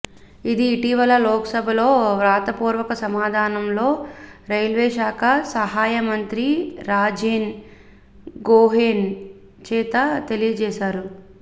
ఇది ఇటీవలే లోక్సభలో వ్రాతపూర్వక సమాధానంలో రైల్వేశాఖ సహాయ మంత్రి రాజేన్ గోహెయిన్ చేత తెలియజేసారు